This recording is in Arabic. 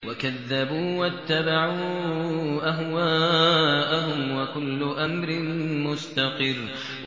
وَكَذَّبُوا وَاتَّبَعُوا أَهْوَاءَهُمْ ۚ وَكُلُّ أَمْرٍ مُّسْتَقِرٌّ